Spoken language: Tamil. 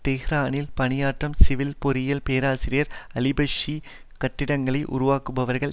தெஹ்ரானில் பணியாற்றும் சிவில் பொறியியல் பேராசிரியர் அலிபக்ஷி கட்டிடங்களை உருவாக்குபவர்கள்